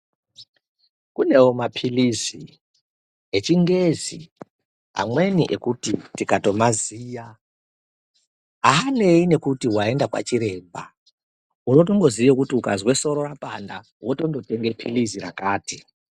kunewo maphirizi echingezi amweni ekuti ndikatomaziya aanei nekuti waenda kwachiremba wotomboziya kuti ukazwe soro rapanda wotombotenge phirizi rakati.